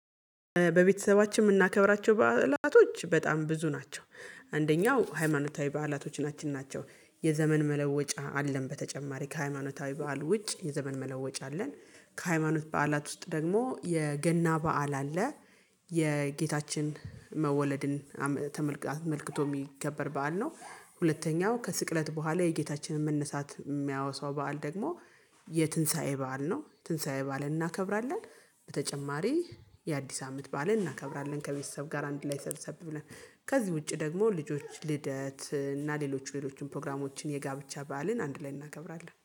በቤተሰባችን የምናከብራቸው በዓላቶች በጣም ብዙ ናቸው፣ አንደኛው ሃይማኖታዊ በዓላቶች ናቸው፣ የዘመን መለወጫ አለን፣ በተጨማሪ ከሃይማኖታዊ በዓል ውጭ የዘመን መለወጫ አለን፣ ከሃይማኖት በዓላት ውስጥ ደግሞ የገና በዓል አለ። የጌታችን መወለድን ተመልክቶ የሚከበር በዓል ነው ሁለተኛው ከስቅለት በኋላ የጌታችንን መነሳት የሚያወሳው በዓል ደግሞ የትንሳኤ በዓል ነው የትንሳኤ በዓል እናከብራለን በተጨማሪ የአዲስ አመት በዓል እናክብራለን ከቤተሰብ ጋር አንድ ላይ ሰብስብ ብለን ከዚህ ውጪ ደግሞ ልጆች ልደት እና ሌሎች ሌሎችን ፕሮግራሞችን የጋብች በዓልን አንድ ላይ እናክብራለን